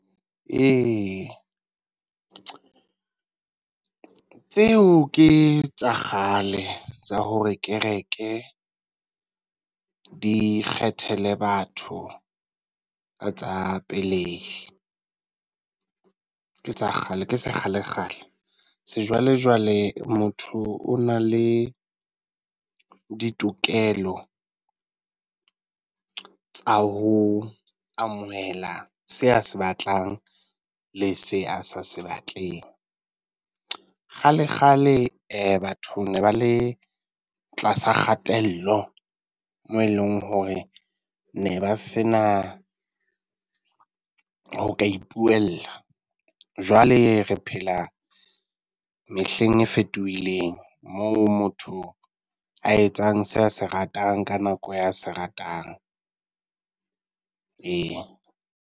Ee, tseo ke tsa kgale tsa hore kereke di kgethele batho ka tsa pelehi. Ke tsa kgale, ke sekgalekgale. Sejwalejwale motho o na le ditokelo tsa ho amohela se a se batlang le se a sa se batleng. Kgalekgale batho ba ne ba le tlasa kgatello, mo eleng hore ne ba se na ho ka ipuella. Jwale re phela mehleng e fetohileng moo motho a etsang se a se ratang ka nako ya se ratang. Ee.